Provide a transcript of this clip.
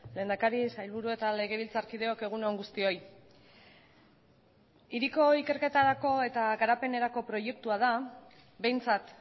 lehendakari sailburu eta legebiltzarkideok egun on guztioi hiriko ikerketarako eta garapenerako proiektua da behintzat